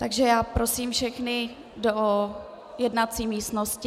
Takže já prosím všechny do jednací místnosti.